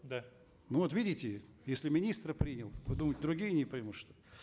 да ну вот видите если министр принял то думаете другие не примут что